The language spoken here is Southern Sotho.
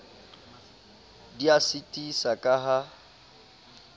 di a sitisa ka ha